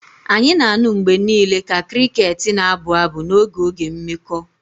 Anyị na-anụ mgbe niile ka crickets na-abụ abụ n'oge oge mmekọ